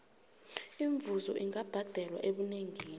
imivuzo ingabhadelwa ebunengini